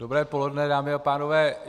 Dobré poledne, dámy a pánové.